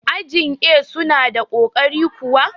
ajin A suna da ƙoƙari kuwa?